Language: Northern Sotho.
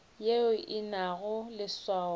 yeo e se nago leswao